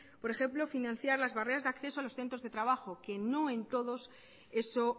por ejemplo financiar las barreras de acceso a los centros de trabajo que no en todos eso